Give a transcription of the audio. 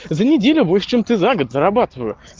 за неделю больше чем ты за год зарабатываю